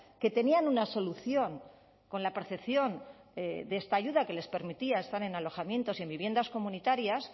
que tenían una solución con la percepción de esta ayuda que les permitía estar en alojamientos y en viviendas comunitarias